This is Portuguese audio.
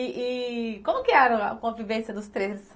E como que era a convivência dos três?